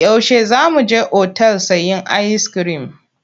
Yaushe za mu je otal sayen ayiskirim?